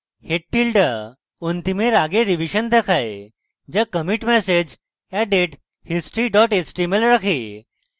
head tilde অন্তিমের আগের revision দেখায় যা committee message added history html রাখে